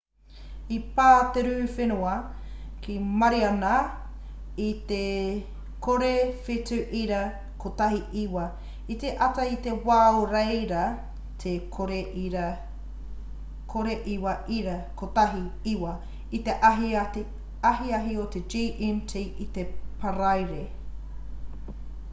i pā te rū whenua ki mariana i te 07.19 i te ata i te wā o reira te 09.19 i te ahiahi i te gmt i te paraire